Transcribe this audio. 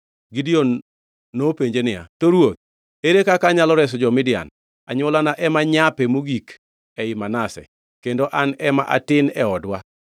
Gideon nopenje niya, “To Ruoth, ere kaka anyalo reso jo-Israel? Anywolana ema nyape mogik ei Manase, kendo an ema atin e odwa.”